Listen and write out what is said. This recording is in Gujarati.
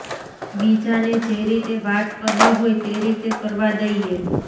બીજાને જે રીતે વાત કરવી હોય તે રીતે કરવા દઈએ